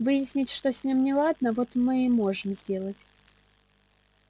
выяснить что с ними неладно вот мы и можем сделать